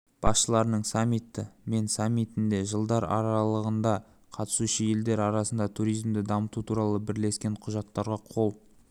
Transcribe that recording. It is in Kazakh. басшыларының саммиті мен саммитінде жылдар аралығында қатысушы елдер арасындағы туризмді дамыту туралы бірлескен құжаттарға қол